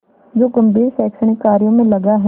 जो गंभीर शैक्षणिक कार्यों में लगा है